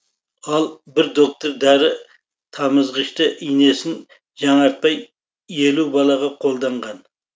ал бір доктор дәрі тамызғышты инесін жаңартпай елу балаға қолданған